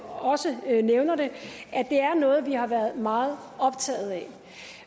også nævner er det noget vi har været meget optaget af